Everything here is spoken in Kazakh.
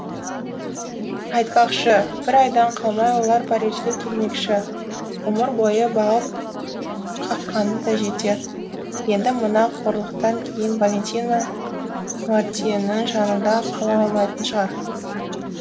айтпақшы бір айдан қалмай олар парижге келмекші ғұмыр бойы бағып қаққаны да жетер енді мына қорлықтан кейін валентина нуартьенің жанында қала алмайтын шығар